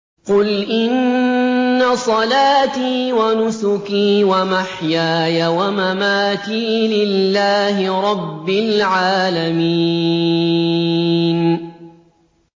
قُلْ إِنَّ صَلَاتِي وَنُسُكِي وَمَحْيَايَ وَمَمَاتِي لِلَّهِ رَبِّ الْعَالَمِينَ